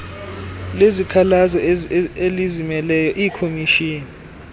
lezikhalazo elizimeleyo iikhomishini